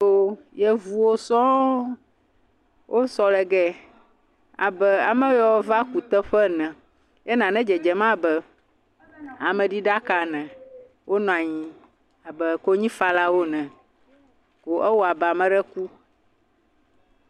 yovuo sɔɔ wó sɔ le giɛ abe ameyeo va kuteƒe ene nane dzedzem abe ameɖi ɖaka ene wo nanyi abe konyifalawo ene ko ewɔabe ameɖe ku